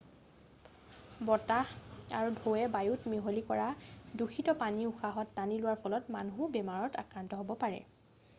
বতাহ আৰু ঢৌৱে বায়ুত মিহলি কৰা দূষিত পানী উশাহত টানি লোৱাৰ ফলত মানুহো বেমাৰত আক্ৰান্ত হ'ব পাৰে